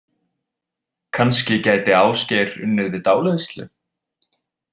Kannski gæti Ásgeir unnið við dáleiðslu?